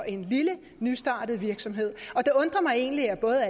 i en lille nystartet virksomhed det undrer mig egentlig at både